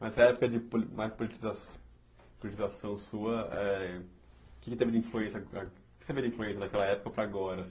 Mas essa época de mais politiza politização sua, o que também foi ah você vê de influência daquela época para agora?